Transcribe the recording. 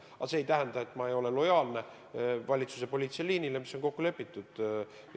Aga see ei tähenda, et ma ei ole lojaalne valitsuse poliitilisele liinile, mis on kokku lepitud.